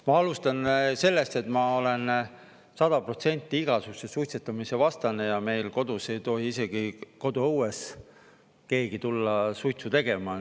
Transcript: Ma alustan sellest, et ma olen 100% igasuguse suitsetamise vastane ja meil kodus ei tohi isegi koduõues keegi tulla suitsu tegema.